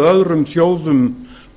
öðrum þjóðum